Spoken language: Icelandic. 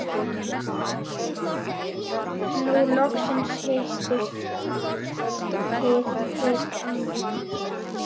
Nú loks hittist þið amma.